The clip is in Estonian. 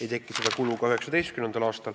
Ei teki seda kulu ka 2019. aastal.